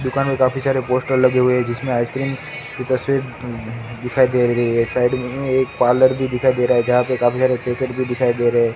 दुकान में काफी सारे पोस्टर लगे हुए है जिसमे की तस्वीर अ दिखाई दे रही है साइड में एक पार्लर भी दिखाई दे रहा है जहा पे काफी सारे पैकेट्स भी दिखाई दे रहे--